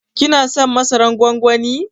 Ki na son masaran gwangwanin?